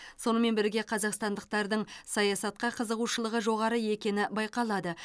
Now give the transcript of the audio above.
сонымен бірге қазақстандықтардың саясатқа қызығушылығы жоғары екені байқалады